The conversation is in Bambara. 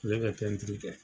Ale be pɛntiri kɛ.